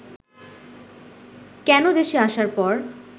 কেন দেশে আসার পর